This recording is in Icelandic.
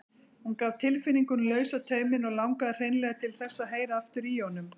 Hún gaf tilfinningunum lausan tauminn og langaði hreinlega til þess að heyra aftur í honum.